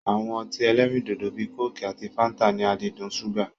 Awọn ọtí ẹlẹ́rindòdò bíi kóòkì àti fáńtà ní àdídùn ṣúgà.